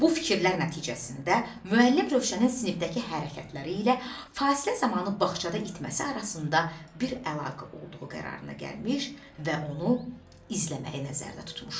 Bu fikirlər nəticəsində müəllim Rövşənin sinifdəki hərəkətləri ilə fasilə zamanı bağçada itməsi arasında bir əlaqə olduğu qərarına gəlmiş və onu izləməyi nəzərdə tutmuşdu.